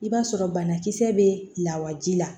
I b'a sɔrɔ banakisɛ bɛ lawaji la